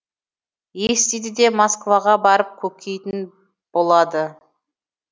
естиді де москваға барып көкитін болады